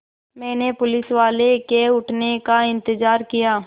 मैंने पुलिसवाले के उठने का इन्तज़ार किया